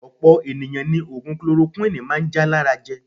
Opo eniyan ni ogun kolorokuwini maa n ja lara je.